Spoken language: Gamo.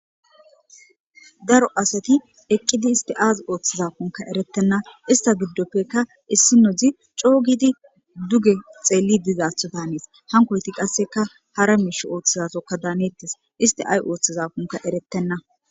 Daro asati eqqidi isti aaz ooththizafunka erettenna ista giddoppekka issi nodzi coogidi duge xeelli dizaatho tanees hankoyti qasseka hara miish ooththizatokka daaneettes istiaay ooththizafunka eretenna.